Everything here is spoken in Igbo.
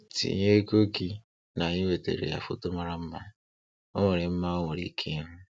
Tinye ego gị n'iwetara ya foto mara mma o nwere mma o nwere ike ịhụ.